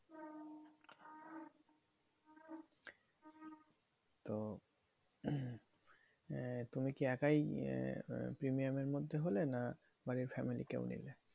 তো আহ তুমি কি একাই আহ premium এর মধ্যে হলে? না বাড়ির family কেও নিলে?